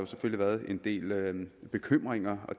været en del bekymringer og